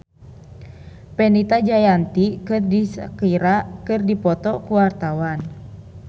Fenita Jayanti jeung Shakira keur dipoto ku wartawan